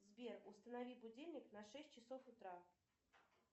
сбер установи будильник на шесть часов утра